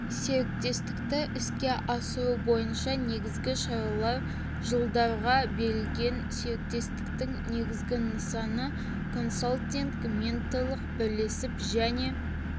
серіктестікті іске асыру бойынша негізгі шаралар жылдарға белгіленген серіктестің негізгі нысаны консалтинг менторлық бірлесіп және